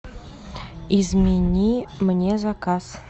измени мне заказ